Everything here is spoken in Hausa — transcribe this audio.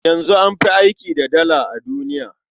Yanzu an fi aiki da Dala a duniya.